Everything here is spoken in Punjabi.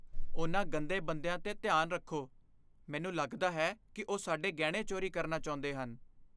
ਉਨ੍ਹਾਂ ਗੰਦੇ ਬੰਦਿਆਂ ਤੋਂ ਧਿਆਨ ਰੱਖੋ। ਮੈਨੂੰ ਲੱਗਦਾ ਹੈ ਕਿ ਉਹ ਸਾਡੇ ਗਹਿਣੇ ਚੋਰੀ ਕਰਨਾ ਚਾਹੁੰਦੇ ਹਨ।